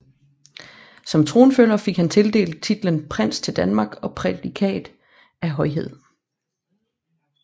Som tronfølger fik han tildelt titlen Prins til Danmark og prædikat af Højhed